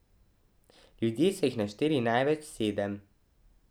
Ljudje so jih našteli največ sedem.